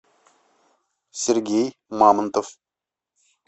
сергей мамонтов